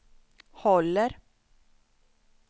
håller